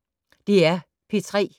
DR P3